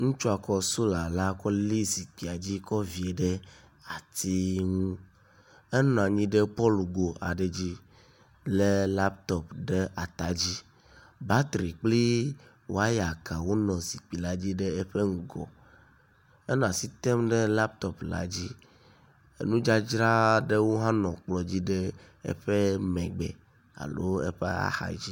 Ŋutsua kɔ sola kɔ li zikpuia dzi kɔ vie ɖe ati ŋu. enɔ anyi ɖe pɔlugo aɖe dzi lé laptɔp ɖe atadzi. Batri kpli waya kawo nɔ zikpui la dzi ɖe eƒe ŋgɔ. Enɔ asi tem ɖe laptɔp la dzi. Enu dzadzra aɖewo hã nɔ kplɔ dzi ɖe eƒe megbe alo eƒe axadzi.